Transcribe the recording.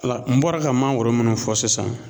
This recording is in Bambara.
Wala n bɔra ka mangoro munnu fɔ sisan